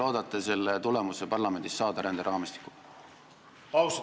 Kuidas te loodate parlamendis ränderaamistikuga selle tulemuse saada?